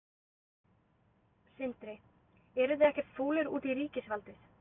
Sindri: Eruð þið ekkert fúlir út í ríkisvaldið?